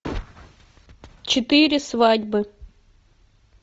четыре свадьбы